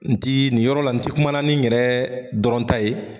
N ti, nin yɔrɔ la n tɛ kumana ni yɛrɛ dɔrɔn ta ye.